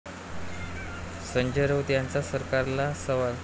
संजय राऊत यांचा सरकारला सवाल